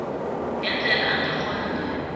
ngendlela angakghona ngayo